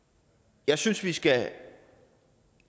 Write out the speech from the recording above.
jeg synes at vi skal